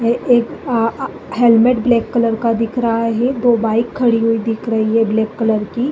ए एक अ आ हेलमेट ब्लैक कलर का दिख रहा है। दो बाइक खड़ी हुई दिख रही हैं ब्लैक कलर की।